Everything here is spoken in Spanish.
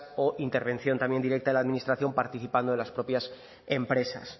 o intervención también directa de la administración participando en las propias empresas